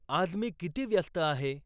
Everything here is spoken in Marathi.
आज मी किती व्यस्त आहे?